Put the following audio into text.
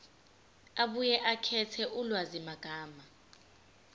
abuye akhethe ulwazimagama